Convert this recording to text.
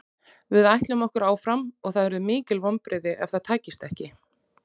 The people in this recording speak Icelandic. Við ætlum okkur áfram og það yrðu mikil vonbrigði ef það tækist ekki.